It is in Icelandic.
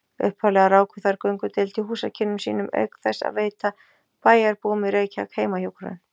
Upphaflega ráku þær göngudeild í húsakynnum sínum auk þess að veita bæjarbúum í Reykjavík heimahjúkrun.